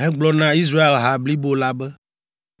hegblɔ na Israel ha blibo la be,